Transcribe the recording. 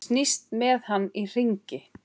Snýst með hann í hringi.